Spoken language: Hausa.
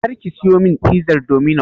Kar ki siyo min fizar Dominos!